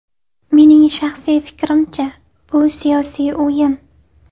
Mening shaxsiy fikrimcha, bu - siyosiy o‘yin.